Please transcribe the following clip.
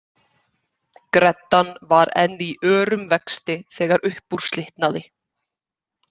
Greddan var enn í örum vexti þegar upp úr slitnaði.